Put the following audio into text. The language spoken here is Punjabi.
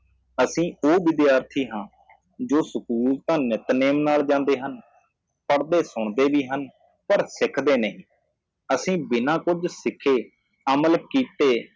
ਅਸੀਂ ਉਹ ਵਿਦਿਆਰਥੀ ਹਾਂ ਜੋ ਸਕੂਲ ਤਾਂ ਨਿੱਤਨੇਮ ਨਾਲ ਜਾਂਦੇ ਹਨ ਪੜ੍ਹਦੇ ਸੁਣਦੇ ਵੀ ਹਨ ਪਰ ਸਿੱਖਦੇ ਨਹੀਂ ਅਸੀਂ ਬਿਨਾ ਕੁੱਝ ਸਿੱਖੇ ਅਮਲ ਕੀਤੇ